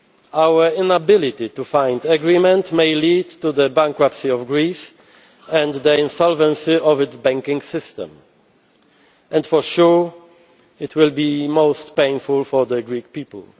lose. Our inability to find agreement may lead to the bankruptcy of Greece and the insolvency of its banking system and, for sure, it will be most painful for the Greek people.